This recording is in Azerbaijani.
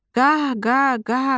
Qa, qa, qa!